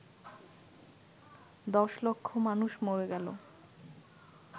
দশ লক্ষ মানুষ মরে গেল